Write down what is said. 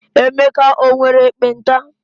Emeka nwere ekpenta?